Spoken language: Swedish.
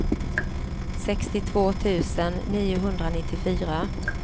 sextiotvå tusen niohundranittiofyra